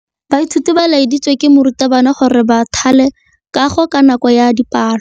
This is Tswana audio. Baithuti ba laeditswe ke morutabana gore ba thale kagô ka nako ya dipalô.